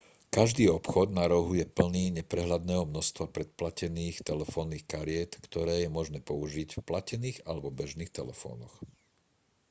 každý obchod na rohu je plný neprehľadného množstva predplatených telefónnych kariet ktoré je možné použiť v platených alebo bežných telefónoch